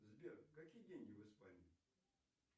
сбер какие деньги в испании